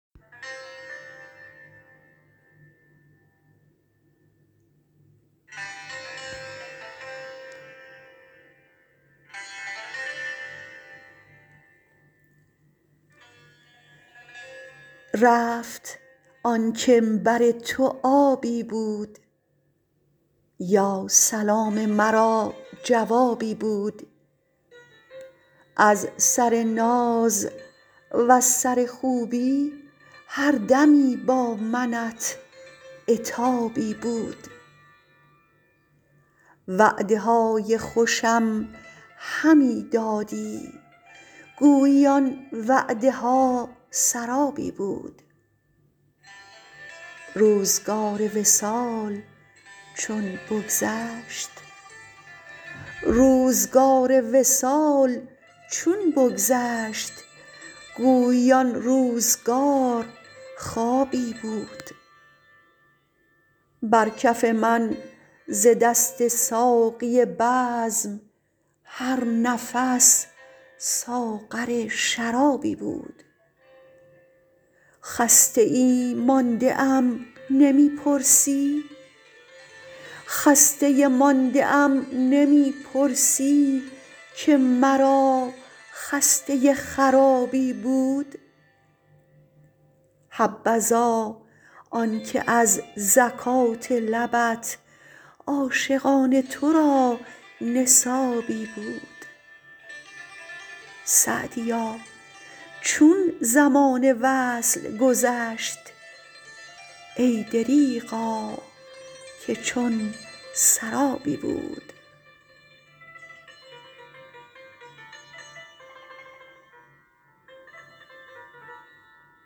رفت آن کم بر تو آبی بود یا سلام مرا جوابی بود از سر ناز وز سر خوبی هر دمی با منت عتابی بود وعده های خوشم همی دادی گویی آن وعده ها سرابی بود روزگار وصال چون بگذشت گویی آن روزگار خوابی بود بر کف من ز دست ساقی بزم هر نفس ساغر شرابی بود خسته مانده ام نمی پرسی که مرا خسته خرابی بود حبذا آنکه از زکات لبت عاشقان تو را نصابی بود سعدیا چون زمان وصل گذشت ای دریغا که چون سرابی بود